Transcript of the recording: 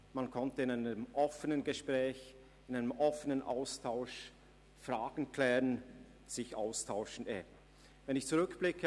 In einem offenen Gespräch und Austausch konnten Fragen geklärt werden, und man konnte sich austauschen.